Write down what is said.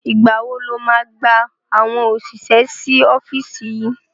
Ìgbá wo la máa gba àwọn òṣìṣẹ́ sí ọ́fíìsì yìí?